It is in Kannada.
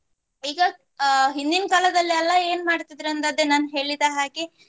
ಈಗ ಅಹ್ ಹಿಂದಿನ್ ಕಾಲದಲ್ಲೆಲ ಏನ್ ಮಾಡ್ತಿದ್ರಿ ಅಂದ್ ಅದೇ ನಾನ್ ಹೇಳಿದ ಹಾಗೆ